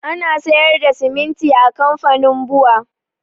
Ana sayar da siminti a kamfanin bua